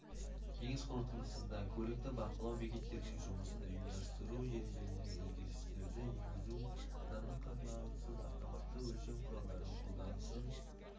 кеңес қорытындысында көлікті бақылау бекеттерінің жұмысын ұйымдастыру ережелеріне өзгерістерді енгізу адамның қатысуынсыз автоматты өлшеу құралдарының қолданысын